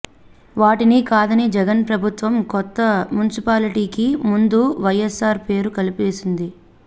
వాటిని కాదని జగన్ ప్రభుత్వం కొత్త మున్సిపాల్టీకి ముందు వైఎస్సార్ పేరు కలిపేసింది